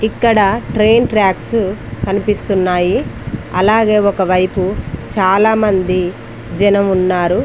ఇక్కడ train tracks కనిపిస్తున్నాయి. అలాగే ఒక వైపు చాలామంది జనం ఉన్నారు.